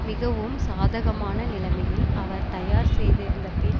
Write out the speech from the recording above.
மிகவும் சாதகமான நிலைமையில் அவர் தயார் செய்திருந்த பின்